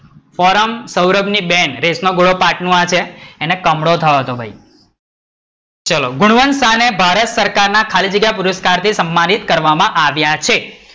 Forum Saurabh ની બેન race માં ઘોડા પાઠ નું આ છે આ, એને કમળો થયો હતો. ભઈ, ચલો ગુણવંતા ને ભારત સરકાર ના ખાલી જગ્યા પુરસ્કાર થી સમ્માનિત કરવા માં આવ્યા છે.